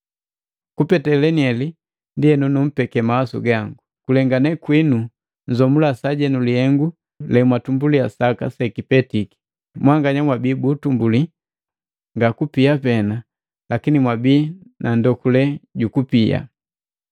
Kupete leniheli, ndienu numpeke mawasu gangu, kulengane kwinu nzomula sajenu lihengu lemwatumbuliya saka sekipetiki. Mwanganya mwabii bu utumbuli nga kupia pena lakini mwabii nandokule jukupia.